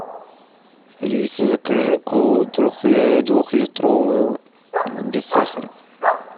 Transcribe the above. алиса закажи колу двухлитровую без сахара